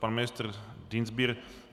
Pan ministr Dienstbier.